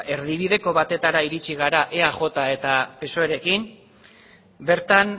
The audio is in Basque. erdibideko batetara heldu gara eaj eta psoerekin bertan